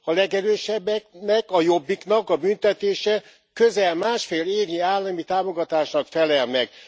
A legerősebbeknek, a Jobbiknak a büntetése közel másfél évnyi állami támogatásnak felel meg.